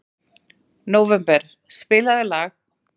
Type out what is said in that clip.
Nóvember, spilaðu lag.